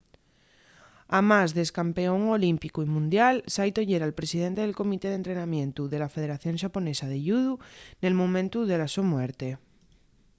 amás d’ex-campeón olímpicu y mundial saito yera’l presidente del comité d’entrenamientu de la federación xaponesa de yudu nel momentu de la so muerte